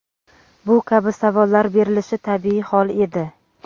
Bu kabi savollar berilishi tabiiy hol edi.